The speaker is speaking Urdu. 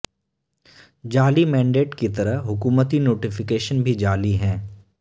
جعلی مینڈیٹ کی طرح حکومتی نوٹیفکیشن بھی جعلی ہیں